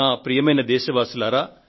ప్రియమైన నా దేశ ప్రజలారా